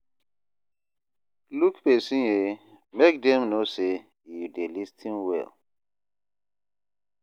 Look pesin ye, make dem know sey you dey lis ten well.